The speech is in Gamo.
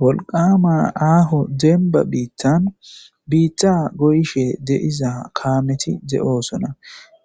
wolqama aaho demba biittan biitta goyshe deiza kaameti de7oosona